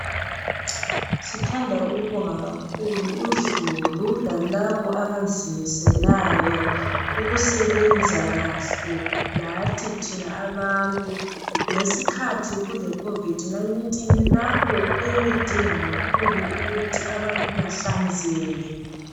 Sithanda ukubonga kakhulu uzulu lababo abazimiselayo ukusebenza kahle lathi thina abantu ngesikhathi kule khovidi 19 lapho eyayidinga kakhulu ukuthi abantu behlanzeke.